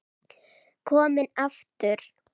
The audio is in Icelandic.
Kominn aftur?